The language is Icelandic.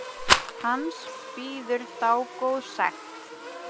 Hans bíður dágóð sekt.